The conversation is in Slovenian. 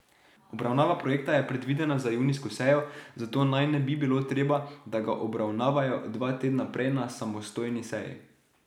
Obravnava projekta je predvidena za junijsko sejo, zato naj ne bi bilo treba, da ga obravnavajo dva tedna prej na samostojni seji.